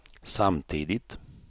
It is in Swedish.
samtidigt